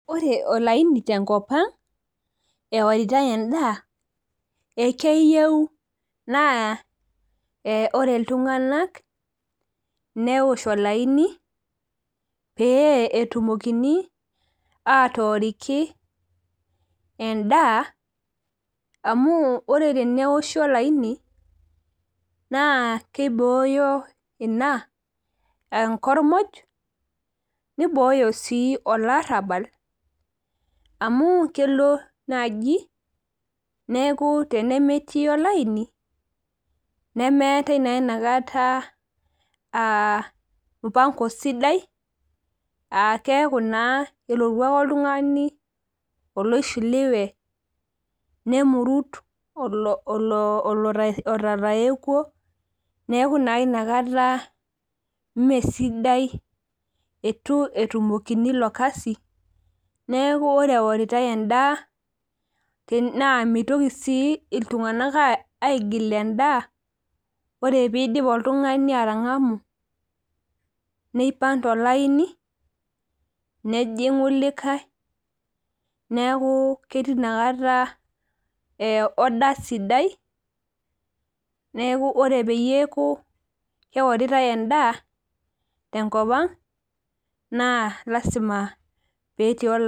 Ore olaini tenkop ang eworitai endaa ekeyieu naa ore iltung'ana neoshi olaini pee etumokini atoriki endaa amu ore teneoshi olaini naa kibooyo ena enkormoj niboyo sii olarabal amu kelo naaji tenemetii olaini nemeetai naa enakata mpango sidai keeku naa kelotu ake oltung'ani oloishiliwe nemurut oloo tayekuo neeku naa enakata mee sidai eitu etumokini elo Kasi neeku ore eworitai endaa naa mitoki sii iltung'ana aigil endaa ore pidip oltung'ani atangamu nipag too laini nejingu likae neeku ketii enakata order sidai neeku ore peeku keoritai endaa tenkop ang naa lasima petii olaini